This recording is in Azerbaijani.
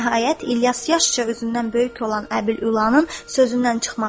Nəhayət İlyas yaşca özündən böyük olan Əbül-Ülanın sözündən çıxmadı.